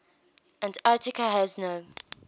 antarctica has no